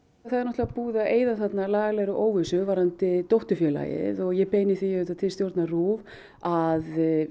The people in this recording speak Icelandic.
er náttúrulega búið að eyða þarna lagalegri óvissu um dótturfélagið og ég beini því auðvitað til stjórnar RÚV að